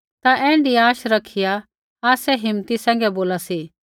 ता ऐण्ढी आशा रखिया आसै हिम्मती सैंघै बोला सी